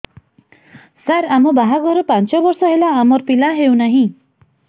ସାର ଆମ ବାହା ଘର ପାଞ୍ଚ ବର୍ଷ ହେଲା ଆମର ପିଲା ହେଉନାହିଁ